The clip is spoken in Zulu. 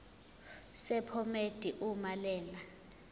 sephomedi uma lena